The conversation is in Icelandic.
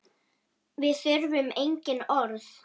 Við þurfum engin orð.